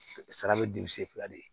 Sara bɛ di sen fila de ye